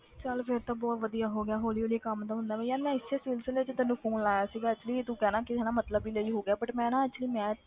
ਚੱਲ ਫਿਰ ਤਾਂ ਬਹੁਤ ਵਧੀਆ ਹੋ ਗਿਆ ਹੌਲੀ ਹੌਲੀ ਕੰਮ ਤਾਂ ਹੁੰਦਾ ਵੀ ਯਾਰ ਮੈਂ ਇਸੇ ਸਿਲਸਿਲੇ 'ਚ ਤੈਨੂੰ phone ਲਾਇਆ ਸੀਗਾ actually ਤੂੰ ਕਹਿਣਾ ਕਿ ਹਨਾ ਮਤਲਬ ਲਈ ਹੋ ਗਿਆ but ਮੈਂ ਨਾ actually ਮੈਂ